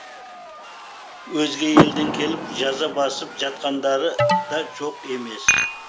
өзге елден келіп жаза басып жатқандары да жоқ емес